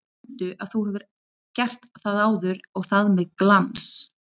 Mundu að þú hefur gert það áður og það með glans!